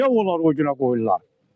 Niyə onlar o günə qoyurlar?